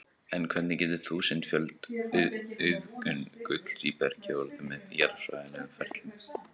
En hvernig getur þúsundföld auðgun gulls í bergi orðið með jarðfræðilegum ferlum?